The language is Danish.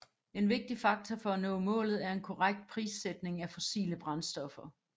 En vigtig faktor for at nå målet er en korrekt prissætning af fossile brændstoffer